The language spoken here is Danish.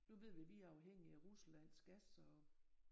Nu ved vi vi er afhængige af Ruslands gas og